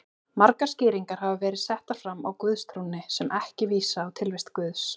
Margar skýringar hafa verið settar fram á guðstrúnni sem ekki vísa á tilvist Guðs.